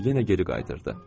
Yenə geri qaytardı.